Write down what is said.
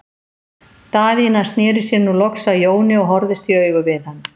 Daðína sneri sér nú loks að Jóni og horfðist í augu við hann.